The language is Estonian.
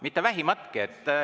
Mitte vähimatki!